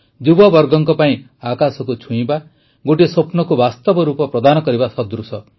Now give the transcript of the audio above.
ଯୁବବର୍ଗଙ୍କ ପାଇଁ ଆକାଶକୁ ଛୁଇଁବା ଗୋଟିଏ ସ୍ୱପ୍ନକୁ ବାସ୍ତବ ରୂପ ପ୍ରଦାନ କରିବା ସଦୃଶ